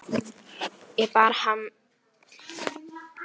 Ég bar harm minn í hljóði yfir þessu.